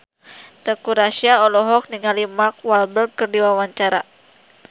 Teuku Rassya olohok ningali Mark Walberg keur diwawancara